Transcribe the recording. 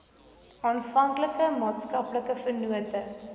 alle maatskaplike vennote